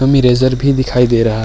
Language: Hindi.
इरेजर भी दिखाई दे रहा --